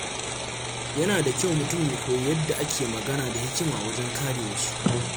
Yana da kyau mutum ya koyi yadda ake magana da hikima wajen kare wasu.